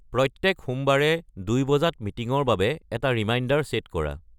প্ৰ্ৰত্যেক সোমবাৰে দুই বজাত মিটিঙৰ বাবে এটা ৰিমাইণ্ডাৰ ছেট কৰা